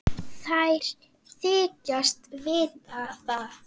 Þær þykjast vita það.